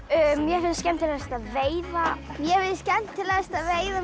mér finnst skemmtilegast að veiða mér finnst skemmtilegast að veiða